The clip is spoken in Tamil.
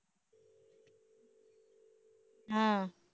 ஆஹ்